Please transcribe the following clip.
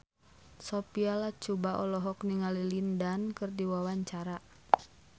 Sophia Latjuba olohok ningali Lin Dan keur diwawancara